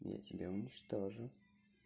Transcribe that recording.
я тебя уничтожу